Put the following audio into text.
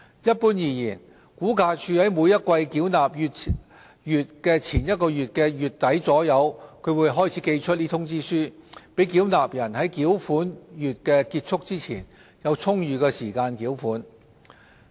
一般而言，估價署在每季繳款月前一個月的月底左右開始寄出通知書，讓繳納人在繳款月結束前有充裕時間繳款。